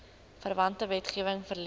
verwante wetgewing verleen